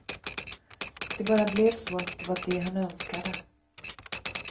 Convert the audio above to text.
Det bara blev så att det var det han önskade.